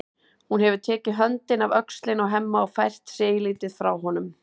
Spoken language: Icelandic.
Hún hefur tekið höndina af öxlinni á Hemma og fært sig eilítið frá honum.